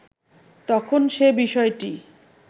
তখন সে বিষয়টি